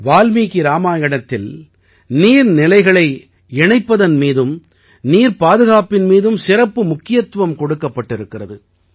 வால்மீகி இராமாயணத்தில் நீர் நிலைகளை இணைப்பதன் மீதும் நீர் பாதுகாப்பின் மீதும் சிறப்பு முக்கியத்துவம் கொடுக்கப்பட்டிருக்கிறது